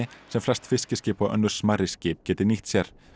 sem flest fiskiskip og önnur smærri skip geti nýtt sér